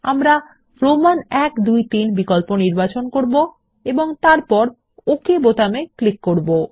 আমরা Roman I II III বিকল্প নির্বাচন করব এবং তারপর ওক বাটনে ক্লিক করব